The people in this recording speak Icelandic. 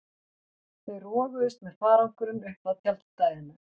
Þau roguðust með farangurinn upp að tjaldstæðinu.